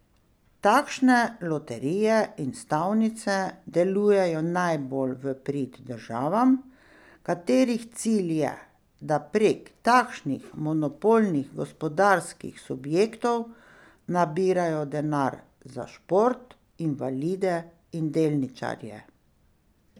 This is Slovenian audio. Takšne loterije in stavnice delujejo najbolj v prid državam, katerih cilj je, da prek takšnih monopolnih gospodarskih subjektov nabirajo denar za šport, invalide in delničarje.